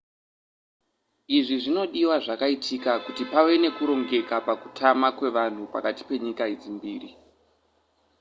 izvi zvinodiwa zvakaitwa kuti pave nekurongeka pakutama kwevanhu pakati penyika idzi mbiri